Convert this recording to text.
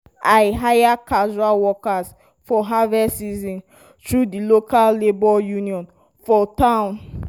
i hire casual workers for harvest season through di local labour union for town.